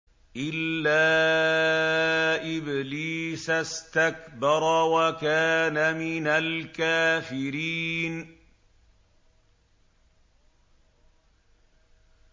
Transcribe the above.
إِلَّا إِبْلِيسَ اسْتَكْبَرَ وَكَانَ مِنَ الْكَافِرِينَ